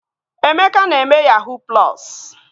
Emeka na-eme yahuu plọsu